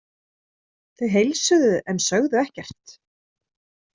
Þau heilsuðu en sögðu ekkert.